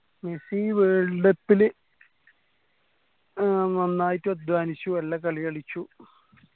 Messi world cup ല് ഏർ നന്നായിട്ട് അദ്ധ്വാനിച്ചു നല്ല കളി കളിച്ചു